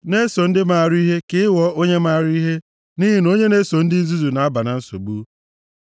Na-eso ndị maara ihe ka ị ghọọ onye mara ihe, nʼihi na onye na-eso ndị nzuzu na-aba na nsogbu.